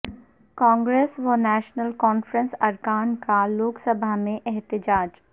کانگریس و نیشنل کانفرنس ارکان کا لوک سبھا میں احتجاج